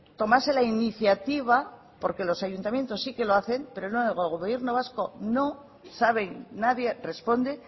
tomase la iniciativa porque los ayuntamientos sí que lo hacen pero no en el gobierno vasco no saben nadie responde